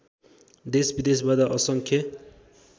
देशविदेशबाट असङ्ख्य